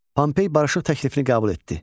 Pompey barışıq təklifini qəbul etdi.